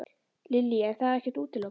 Lillý: En það er ekkert útilokað?